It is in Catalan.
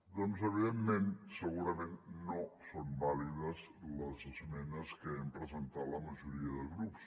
doncs evidentment segurament no són vàlides les esmenes que hem presentat la majoria de grups